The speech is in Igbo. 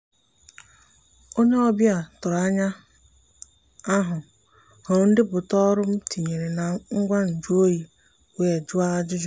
onye ọbịa tụrụ anya ahu hụrụ ndepụta ọrụ m tinyere na ngwa nju oyi wee jụọ ajụjụ.